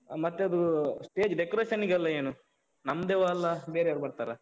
ಮತ್ತೆ ಅದೂ stage decoration ಗೆಲ್ಲ ಏನು? ನಮ್ದೆವಾ ಅಲ್ಲ ಬೇರೆಯವ್ರು ಬರ್ತಾರಾ?